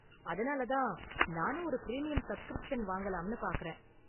அதனால தான் நானும் ஒரு பிரீமியம் சப்ஸ்கிரிப்ஷன் வாங்கலாம்னு பார்க்கறேன்.